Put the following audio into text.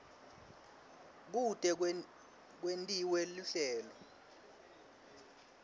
kute kwentiwe luhlelo